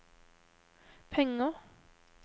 penger